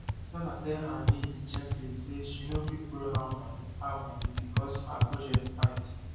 sarah tell her niece gently say she no fit borrow her money her money because her budget tight